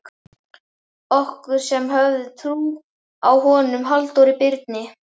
Okkur, sem höfðum trú á honum Halldóri Birni